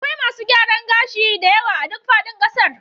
Akwai masu gyaran gashi da yawa a duk faɗin ƙasar